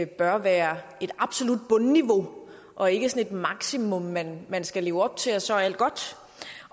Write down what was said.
bør være et absolut bundniveau og ikke et maksimum man man skal leve op til og så er alt godt